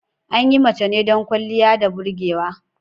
An yi mace ne don ƙwaliya da burgewa.